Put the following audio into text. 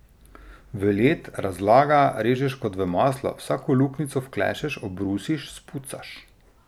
V led, razlaga, režeš kot v maslo, vsako luknjico vklešeš, obrusiš, spucaš.